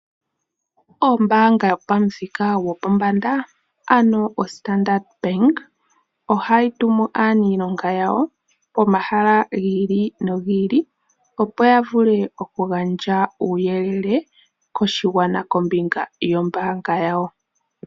Ombanga yopamuthika gwopombanda oStandard bank ohayi tumu aanilonga yawo pomahala gi ili nogi ili opo yavule okugandja uuyelele koshigwana kombinga yombanga yawo.